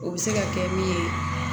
O bɛ se ka kɛ min ye